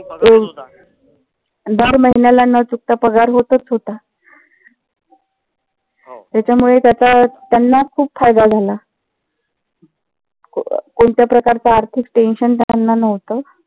दर महिन्याला न चुकता पगार होतच होता. त्याच्यामुळे त्याचा त्यांना खूप फायदा झाला. कोणत्या प्रकारच आर्थिक tension त्यांना नव्हत.